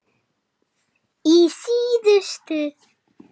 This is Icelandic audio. Í síðustu